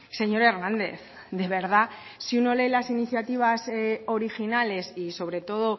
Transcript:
señor hernández de verdad si uno lee las iniciativas originales y sobre todo